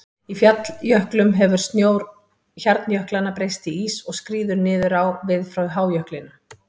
Í falljöklum hefur snjór hjarnjöklanna breyst í ís og skríður niður á við frá hájöklinum.